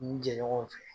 N jɛ ɲɔgɔn fɛ